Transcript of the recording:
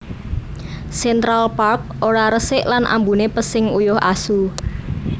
Central Park ora resik lan ambune pesing uyuh asu